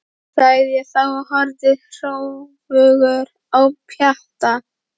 sagði ég þá og horfði hróðugur á Pjatta.